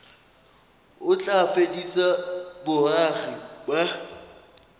o tla fedisa boagi ba